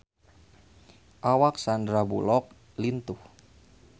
Awak Sandar Bullock lintuh